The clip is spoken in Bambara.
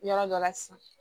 Yɔrɔ dɔ la sisan